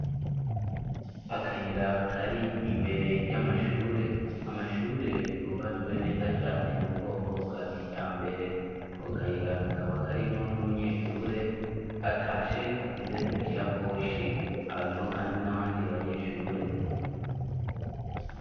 Akayira kari imbere y'amashure amashure yubatswe neza cane mu bwoko bwa kija mbere ko kayira kakaba karimwo n'umunyeshure atashe afise isakoshi abarimwo, kandi n'abandi banyeshure.